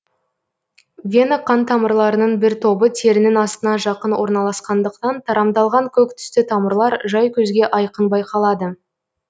вена қантамырларының бір тобы терінің астына жақын орналаскандықтан тарамдалған көк түсті тамырлар жай көзге айқын байқалады